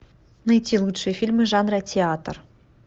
найти лучшие фильмы жанра театр